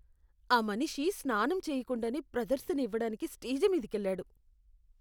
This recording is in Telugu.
ఆ మనిషి స్నానం చేయకుండానే ప్రదర్శన ఇవ్వడానికి స్టేజి మీదికెళ్లాడు.